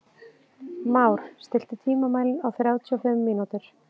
Már, stilltu tímamælinn á þrjátíu og fimm mínútur.